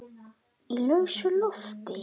Breki Logason: Í lausu loft?